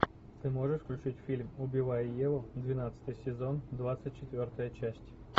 ты можешь включить фильм убивая еву двенадцатый сезон двадцать четвертая часть